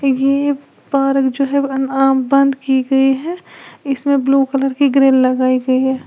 ये एक पार्क जो है बंद की गई है इसमें ब्लू कलर की ग्रिल लगाई गई है।